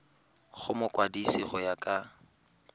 go mokwadise go ya ka